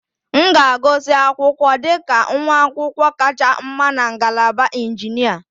M ga-agụsị akwụkwọ dị ka nwa akwụkwọ kacha mma na ngalaba injinia